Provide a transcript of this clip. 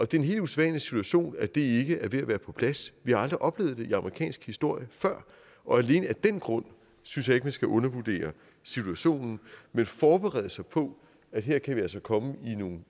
det er en helt usædvanlig situation at det ikke at være på plads vi har aldrig før oplevet det i amerikansk historie og alene af den grund synes jeg ikke at man skal undervurdere situationen men forberede sig på at her kan vi altså komme